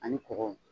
Ani kɔgɔ